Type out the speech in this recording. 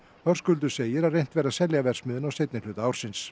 Höskuldur segir að reynt verði að selja verksmiðjuna á seinni hluta ársins